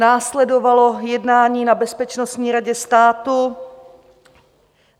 Následovalo jednání na Bezpečnostní radě státu.